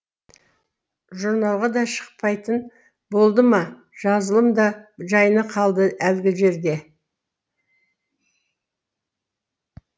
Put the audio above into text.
журналға да шықпайтын болды ма жазылым да жайына қалды әлгі жерде